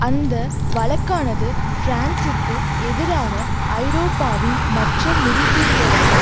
அந்த வழக்கானது பிரான்சுக்கு எதிராக ஐரோப்பாவின் மற்ற முடிசூடியவர்கள்